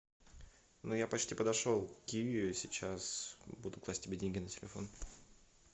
ну я почти подошел к киви сейчас буду класть тебе деньги на телефон